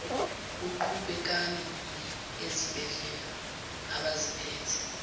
kuqhubekani ezibhedlela abaziphethe